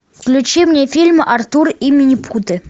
включи мне фильм артур и минипуты